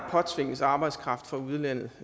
påtvinges arbejdskraft fra udlandet